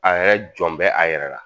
A yɛrɛ jɔn bɛɛ a yɛrɛ la